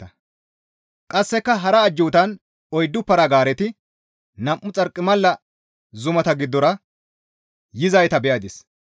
Qasseka hara ajjuutan oyddu para-gaareti nam7u xarqimala zumata giddora yizayta be7adis.